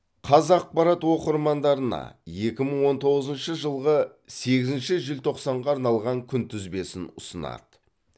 қазақпарат оқырмандарына екі мың он тоғызыншы жылғы сегізінші желтоқсанға арналған күнтізбесін ұсынады